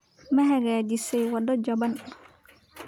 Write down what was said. Ma hagaajisay waddo jaban?